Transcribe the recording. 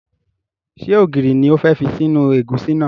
Ṣé ògiri ni o fẹ́ fi sínú ẹ̀gúsí náà?